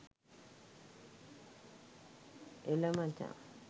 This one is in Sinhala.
එළ මචන්